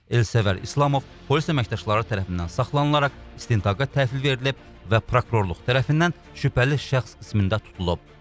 Elsəvər İslamov polis əməkdaşları tərəfindən saxlanılaraq istintaqa təhvil verilib və prokurorluq tərəfindən şübhəli şəxs qismində tutulub.